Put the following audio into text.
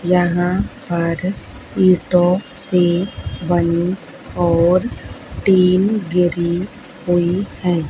यहां पर ईटों से बनी और टीन गिरी हुई है।